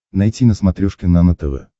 найти на смотрешке нано тв